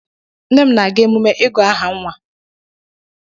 Nne m na-aga emume ịgụ aha nwa.